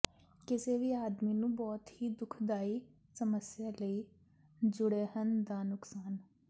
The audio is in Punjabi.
ਕਿਸੇ ਵੀ ਆਦਮੀ ਨੂੰ ਬਹੁਤ ਹੀ ਦੁਖਦਾਈ ਸਮੱਸਿਆ ਲਈ ਜੁੜੇਹਨ ਦਾ ਨੁਕਸਾਨ